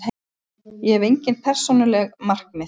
Ég hef engin persónuleg markmið.